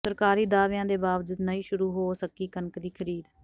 ਸਰਕਾਰੀ ਦਾਅਵਿਆਂ ਦੇ ਬਾਵਜੂਦ ਨਹੀਂ ਸ਼ੁਰੂ ਹੋ ਸਕੀ ਕਣਕ ਦੀ ਖ਼ਰੀਦ